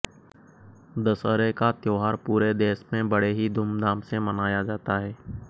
दशहरे का त्योहरा पूरे देश में बड़े ही धूमधाम से मनाया जाता है